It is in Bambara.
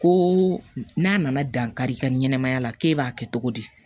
Ko n'a nana dankari i ka ɲɛnamaya la k'e b'a kɛ cogo di